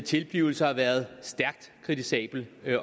tilblivelse har været stærkt kritisabel